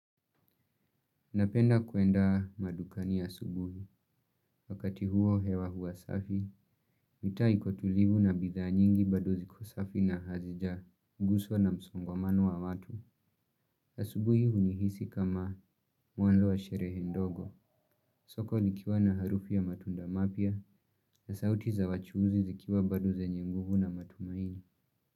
Napenda kuenda madukani asubuhi, wakati huo hewa huwa safi, mitaa iko tulivu na bidhaa nyingi bado ziko safi na hazijaguzwa na msongamano wa watu. Asubuhi hunihisi kama mwanzo wa sherehe ndogo, soko likiwa na harufu ya matunda mapya na sauti za wachuuzi zikiwa bado zenye nguvu na matumaini.